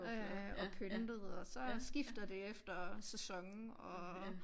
Øh og pyntet og så skifter det efter sæson og